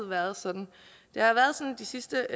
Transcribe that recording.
været sådan de sidste